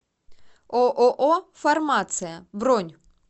ооо фармация бронь